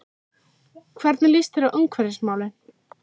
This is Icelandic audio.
Hvernig líst þér á umhverfismálin?